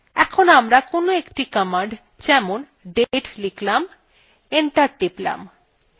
enter টিপলাম